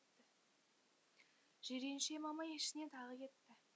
жиренше мамай ішіне тағы кетті